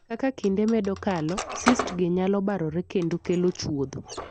Kaka kinde medo kalo, cystsgi nyalo barore kendo kelo chwodho.